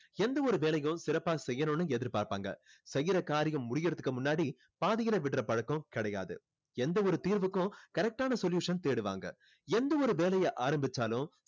எந்த ஒரு வேலையும் சிறப்பா செய்யணும்னு எதிர்பார்பாங்க செய்யுற காரியம் முடியுறதுக்கு முன்னாடி பாதியில விடுற பழக்கம் கிடையாது எந்த ஒரு தீர்வுக்கும் correct ஆன solution தேடுவாங்க எந்த ஒரு வேலையை ஆரம்பிச்சாலும்